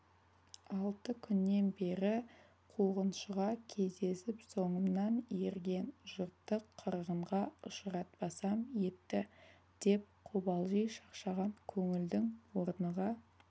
алты күннен бері қуғыншыға кездесіп соңымнан ерген жұртты қырғынға ұшыратпасам етті деп қобалжи шаршаған көңілдің орныға